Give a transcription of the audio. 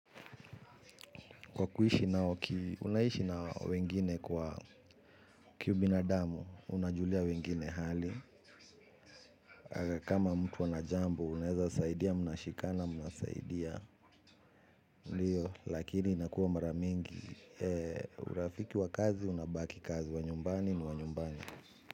Kwa kuishi nao, unaishi na wengine kwa kiubinadamu, unajulia wengine hali. Kama mtu ana jambo, unaweza saidia, mnashikana, mnasaidia. Ndiyo, lakini inakuwa mara mingi. Urafiki wa kazi, unabaki kazi wa nyumbani ni wa nyumbani.